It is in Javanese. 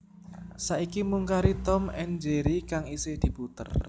Saiki mung kari Tom and Jerry kang isih diputer